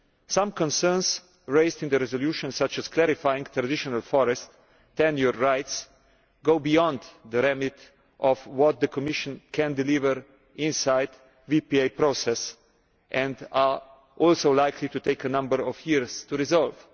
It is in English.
Some concerns raised in the resolution, such as clarifying traditional forest tenure rights, go beyond the remit of what the Commission can deliver inside the VPA process and are also likely to take a number of years to resolve.